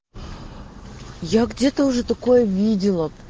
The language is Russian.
я где-то уже такое видела